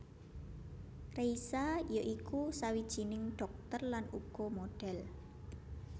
Reisa ya iku sawijining dhokter lan uga modhel